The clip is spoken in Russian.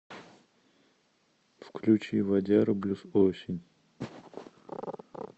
включи вадяру блюз осень